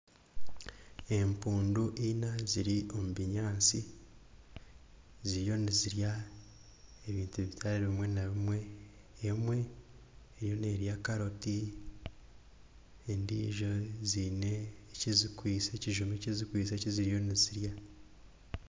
Empundu Ina ziri omubinyatsi ziriyo nizirya ebintu bitari bimwe na bimwe emwe eriyo nerya carrot ezindi haine ekizikwitse ekizuma ekizikwitse ekiziriyo nizirya